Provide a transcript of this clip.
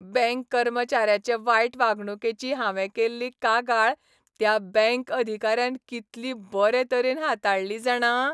Bank कर्मचाऱ्याचे वायट वागणुकेची हांवें केल्ली कागाळ त्या बँक अधिकाऱ्यान कितली बरे तरेन हाताळ्ळी, जाणा.